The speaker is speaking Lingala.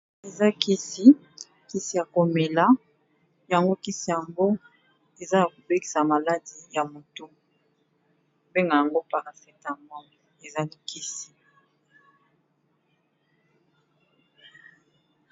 Eza kisi kisi ya komela yango kisi yango eza ya ko bikisa maladie ya motu, ba bengaka yango paracetamol eza Kisi.